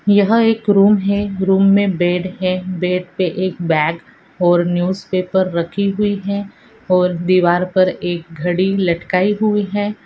यहा एक रूम है रूमों मे बेड है बेड पे एक बाग और नूज़्पैपर राखी हुई है और देवर पर एक घरी लटकी हुई है।